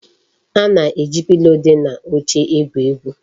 A na-eji pilo di n'oche egwu egwu.